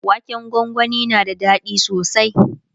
waken gwangwani na da daɗi sosai